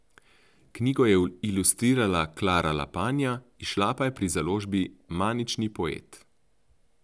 Knjigo je ilustrirala Klara Lapanja, izšla pa je pri založbi Manični poet.